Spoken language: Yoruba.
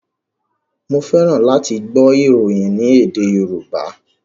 Mo fẹ́ràn láti gbọ́ ìròyìn ní èdè Yorùbá.